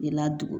I ladon